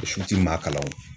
O su ti maa kalan o